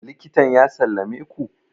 likitan ya sallame ku?